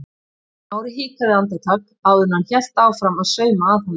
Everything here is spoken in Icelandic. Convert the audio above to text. Smári hikaði andartak áður en hann hélt áfram að sauma að honum.